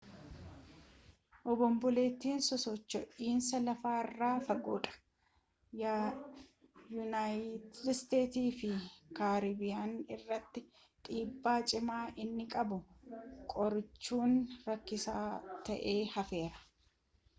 obonboleettiin sosocho'iinsa lafaa irraa fagoodha yuunayitid iisteetsii fi kaaribiyaanii irratti dhiibbaa cimaa inni qabu qorachuun rakkisaa ta'ee hafeera